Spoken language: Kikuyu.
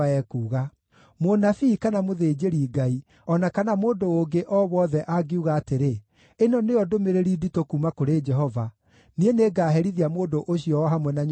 Mũnabii, kana mũthĩnjĩri-Ngai, o na kana mũndũ ũngĩ o wothe angiuga atĩrĩ, ‘Ĩno nĩyo ndũmĩrĩri nditũ kuuma kũrĩ Jehova,’ niĩ nĩngaherithia mũndũ ũcio o hamwe na nyũmba yake.